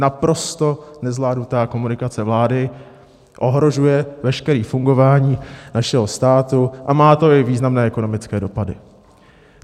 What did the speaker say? Naprosto nezvládnutá komunikace vlády ohrožuje veškeré fungování našeho státu a má to i významné ekonomické dopady.